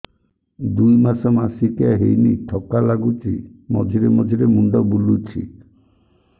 ଦୁଇ ମାସ ମାସିକିଆ ହେଇନି ଥକା ଲାଗୁଚି ମଝିରେ ମଝିରେ ମୁଣ୍ଡ ବୁଲୁଛି